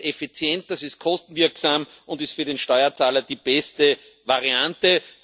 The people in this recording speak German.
Das ist effizient, das ist kostenwirksam und für den Steuerzahler die beste Variante.